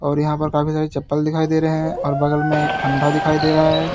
और यहां पर काफी सारी चप्पल दिखाई दे रहे और बगल में एक ठंडा दिखाई दे रहा है।